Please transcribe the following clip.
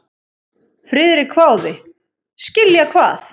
Friðrik hváði: Skilja hvað?